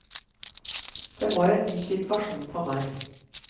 Det var en ny situasjon for meg.